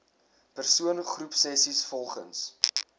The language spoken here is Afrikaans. persoon groepsessies volgens